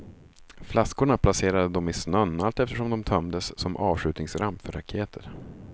Flaskorna placerade de i snön allteftersom de tömdes, som avskjutningsramp för raketer.